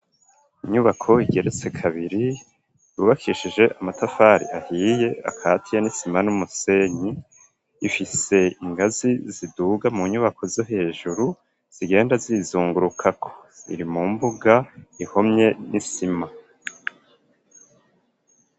Inyubako igeretse kabiri yubakishije amatafari ahiye akatiye n'isima n'umusenyi ifise ingazi ziduga mu nyubako zo hejuru zigenda zizungurukako iri mu mbuga ihomye n'isima.